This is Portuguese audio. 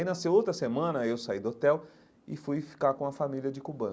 Aí nasceu outra semana, eu saí do hotel e fui ficar com a família de cubano.